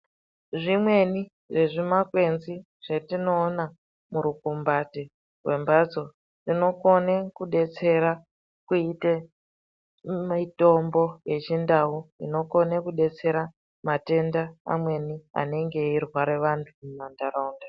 Zvimweni zvimakwenzi zvetinoona murukumbati rwembatso inokone kudetsera kuite mitombo yechindau inokone kudetsera matenda amweni anenge eirwara vantu muntaraunda.